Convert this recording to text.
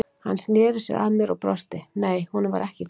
Hann sneri sér að mér og brosti, nei, honum var ekkert kalt.